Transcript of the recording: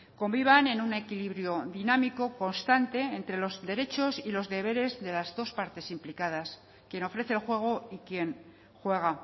convivan en un equilibrio dinámico constante entre los derechos y los deberes de las dos partes implicadas quien ofrece el juego y quien juega